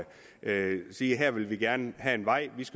sige at her vil de gerne have en vej